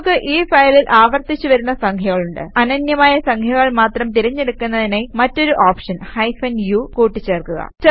നമുക്ക് ഈ ഫയലിൽ ആവർത്തിച്ച് വരുന്ന സംഖ്യകളുണ്ട് അനന്യമായ സംഖ്യകൾ മാത്രം തിരഞ്ഞ് എടുക്കുന്നതിനായി മറ്റൊരു ഓപ്ഷൻ ഹൈഫൻ u കൂട്ടി ചേർക്കുക